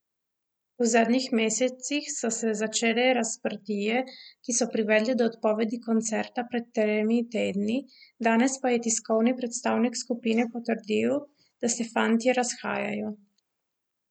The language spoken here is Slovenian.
V zadnjih mesecih so se začele razprtije, ki so privedle do odpovedi koncerta pred tremi tedni, danes pa je tiskovni predstavnik skupine potrdil, da se fantje razhajajo.